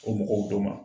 O mɔgɔw donna